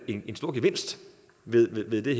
en stor gevinst ved det det